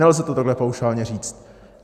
Nelze to takhle paušálně říct.